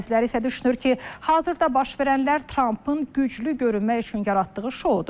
Bəziləri isə düşünür ki, hazırda baş verənlər Trampın güclü görünmək üçün yaratdığı şoudur.